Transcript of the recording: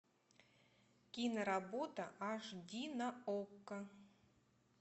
киноработа аш ди на окко